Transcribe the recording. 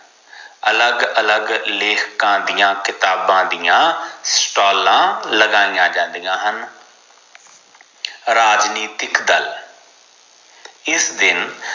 ਅਲੱਗ ਅਲੱਗ ਲੇਖਕਾਂ ਦੇ ਕਿਤਾਬਾਂ ਦੀਆ ਸਟਾਲਾਂ ਲਗਾਇਆ ਜਾਂਦੀਆਂ ਹਨ ਰਾਜਨੀਤੀਕੀ ਦਲ ਇਸ ਦਿਨ